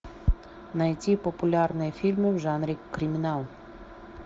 найти популярные фильмы в жанре криминал